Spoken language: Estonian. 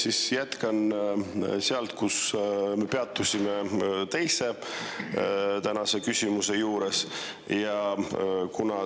Ma siis jätkan sealt, kus me peatusime tänase teise küsimuse juures.